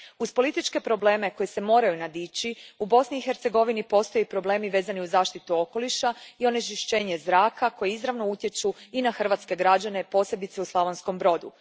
Uz političke probleme koji se moraju nadići, u Bosni i Hercegovini postoje problemi vezani uz zaštitu okoliša i onečišćenje zraka koji izravno utječu i na hrvatske građane, posebice u Slavonskom Brodu.